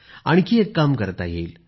आणखी एक काम करता येईल